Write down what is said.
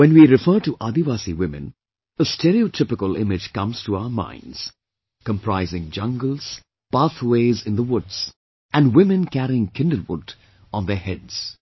When we refer to Adivasi women, a stereotypical image comes to our minds, comprising jungles, pathways in the woods and women carrying kindlewood on their heads